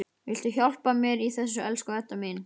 Viltu hjálpa mér í þessu, elsku Edda mín?